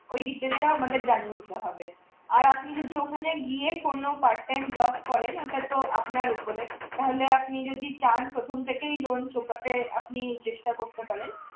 ঐ detail টা আমাদের জানিয়ে দিতে হবে আর আপনি যদি ওখানে গিয়ে কোন part time job করেন ওটাতো আপনার উপরে তাহলে আপনি যদি চান প্রথম থেকেই loan চুকাতে আপনি চেষ্টা করতে পারেন